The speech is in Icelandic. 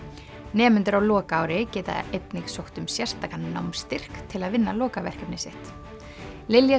nemendur á lokaári geta einnig sótt um sérstakan námsstyrk til að vinna lokaverkefni sitt Lilja